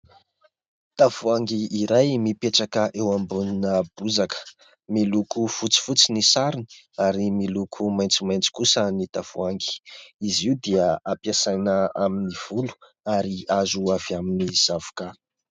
Tavoahangy iray mipetraka eo ambonina bozaka miloko fotsifotsy ny sarony ary miloko maitsomaitso kosa ny tavoahangy. Izy io dia hampiasaina amin' ny volo ary azo avy amin' ny zavoka.